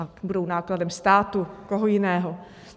A budou nákladem státu, koho jiného.